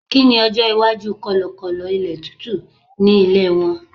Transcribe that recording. kini ọjọ iwaju kọlọkọlọ ilé tútù ni ilé won